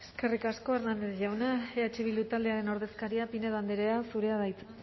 eskerrik asko hernández jauna eh bildu taldearen ordezkaria pinedo andrea zurea da hitza